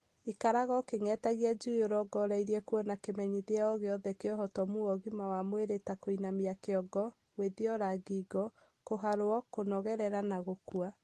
Ikaraga ũkĩng'etagia njui ũrongoreirie kũona kĩmenyithia o gĩothe kĩa ũhotomu wa ũgima wa mwĩrĩ maũndũ ta kũinamia kĩongo, gwĩthiora ngingo, kũharwo, kũnogerera na gũkua.